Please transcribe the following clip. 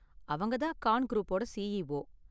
அவங்க தான் கான் குரூப்போட சிஇஓ.